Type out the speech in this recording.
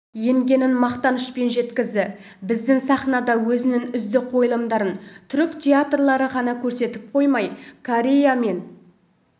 енгенін мақтанышпен жеткізді біздің сахнада өзінің үздік қойылымдарын түрік театрлары ғана көрсетіп қоймай корея мен